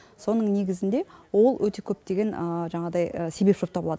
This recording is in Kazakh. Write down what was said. соның негізінде ол өте көптеген жаңағыдай себепші боп табылады